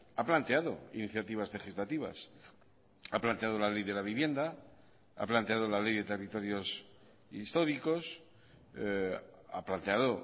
ha planteado iniciativas legislativas ha planteado la ley de la vivienda ha planteado la ley de territorios históricos ha planteado